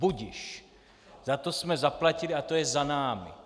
Budiž, za to jsme zaplatili a to je za námi.